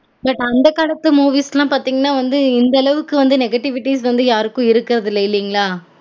Plus அந்த காலத்து movies லான் பாத்தீங்கனா வந்து இந்த அளவுக்கு வந்து negativities வந்து யாருக்கும் இருக்குறது இல்ல இல்லீங்களா